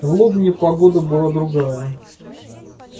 в лобне погода была другая